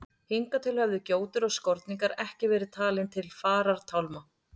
Hingað til höfðu gjótur og skorningar ekki verið talin til farartálma.